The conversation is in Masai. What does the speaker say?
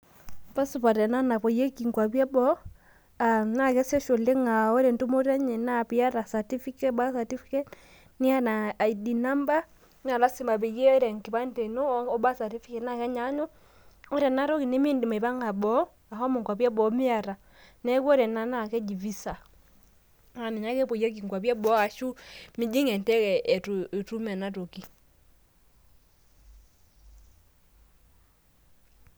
Cs] passport ena napoyieki nkwapi eboo aah na kesej oleng aa ore entumoto enye naa piata certificate birth certificate niata id number nalasima peyie ore enkipande ino o birth certificate na kenyanyuk amu ore ena toki nimeindim aipanga boo ashomo nkwapi e boo miata , neaku ore ena naa keja visa naninye ake epoyieki nkwapi eboo arashu mijing enteke eitu itum ena toki.